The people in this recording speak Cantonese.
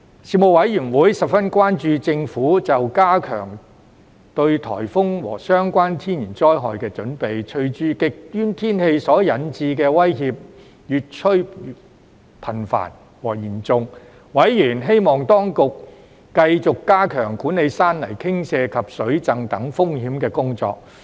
事務委員會十分關注政府就加強應對颱風和相關天然災害的準備，隨着極端天氣所引致的威脅越趨頻繁和嚴重，委員希望當局繼續加強管理山泥傾瀉及水浸等風險的工作。